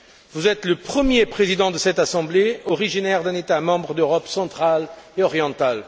Vous êtes le premier président de cette Assemblée originaire d'un État membre d'Europe centrale et orientale.